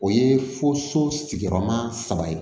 O ye fo so sigiyɔrɔma saba ye